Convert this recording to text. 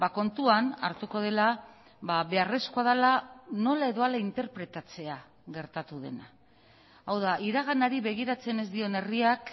kontuan hartuko dela beharrezkoa dela nola edo hala interpretatzea gertatu dena hau da iraganari begiratzen ez dion herriak